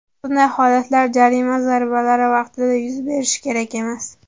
Bunday holatlar jarima zarbalari vaqtida yuz berishi kerak emas.